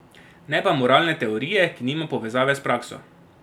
Ne pa moralne teorije, ki nima povezave s prakso.